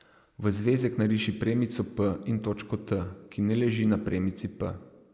V zvezek nariši premico p in točko T, ki ne leži na premici p.